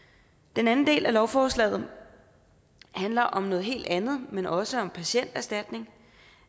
den anden del af lovforslaget handler om noget helt andet men også om patienterstatning